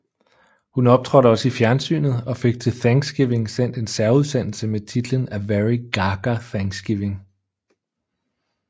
Hun optrådte også i fjernsynet og fik til Thanksgiving sendt en særudsendelse med titlen A Very Gaga Thanksgiving